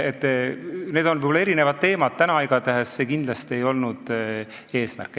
Need on võib-olla erinevad teemad, täna igatahes ei olnud see kindlasti eesmärk.